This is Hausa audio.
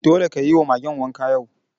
Dole ka yi wa Magen wanka yau!